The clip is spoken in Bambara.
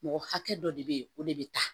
Mɔgɔ hakɛ dɔ de bɛ o de bɛ ta